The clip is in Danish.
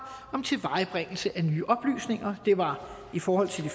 om tilvejebringelse af nye oplysninger det var i forhold til det